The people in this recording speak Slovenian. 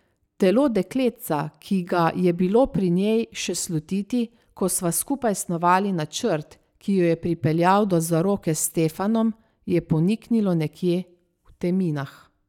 Telo dekletca, ki ga je bilo pri njej še slutiti, ko sva skupaj snovali načrt, ki jo je pripeljal do zaroke s Stefanom, je poniknilo nekje v teminah.